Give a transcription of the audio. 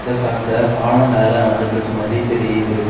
இத பாக்க பாலம் வேல நடந்துட்டுருக்க மாதிரி தெரியுது.